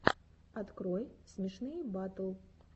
открой смешные батл